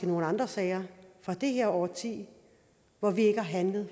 nogle andre sager fra det her årti hvor vi ikke har handlet